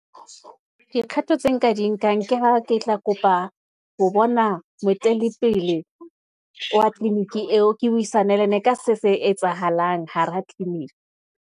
Dikgato tse nka di nkang ke ha ke tla kopa ho bona moetelli pele wa tliliniki eo, ke buisane le yena ka se etsahalang hara tliliniki.